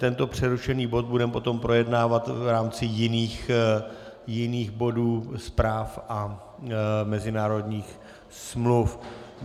Tento přerušený bod budeme potom projednávat v rámci jiných bodů zpráv a mezinárodních smluv.